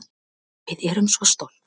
Við erum svo stolt